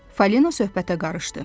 Fali söhbətə qarışdı.